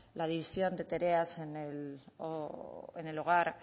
la división de tareas en el hogar